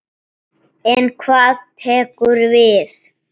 En hvað tekur við?